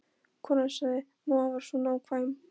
Konan sagði: Mamma var svo nákvæm.